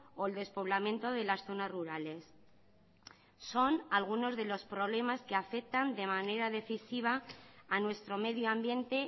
o el despoblamiento de las zonas rurales son algunos de los problemas que afectan de manera decisiva a nuestro medio ambiente